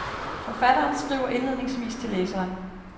Forfatteren Skriver indledningsvis til læseren.